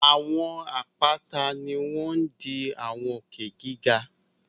Àwọn àpáta ni wọ́n ń di àwọn òkè giga